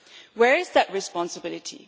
Where is that responsibility?